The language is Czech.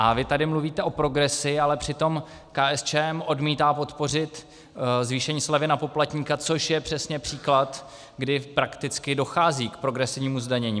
A vy tady mluvíte o progresi, ale přitom KSČM odmítá podpořit zvýšení slevy na poplatníka, což je přesně příklad, kdy prakticky dochází k progresivnímu zdanění.